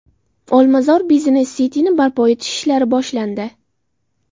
Olmazor Business City’ni barpo etish ishlari boshlandi.